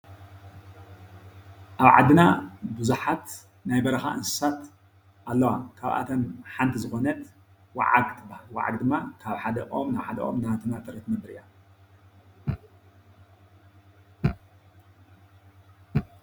ኣብ ዓድና ቡዙሓት ናይ በረካ አንስሳት ኣለዋ ካብ ኣተን ሓንቲ ዝኮነት ወዓግ ትበሃል። ወዓግ ድማ ካብ ሓደ ኦም ናብ ሓደ ኦም አንዳተናጠረት ትነብር አያ።